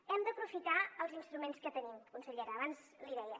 hem d’aprofitar els instruments que tenim consellera abans l’hi deia